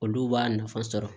Olu b'a nafa sɔrɔ